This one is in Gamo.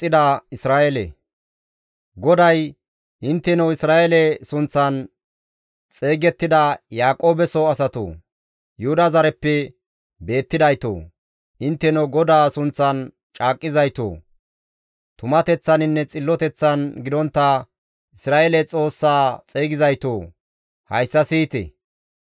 GODAY, «Intteno Isra7eele sunththan xeygettida, Yaaqoobeso asatoo! Yuhuda zareppe beettidaytoo! Intteno GODAA sunththan caaqqizaytoo! tumateththaninne xilloteththan gidontta, Isra7eele Xoossaa xeygizaytoo! Hayssa siyite.